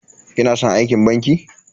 Kina san aikin banki?